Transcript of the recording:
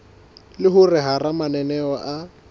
le hore hara mananeo a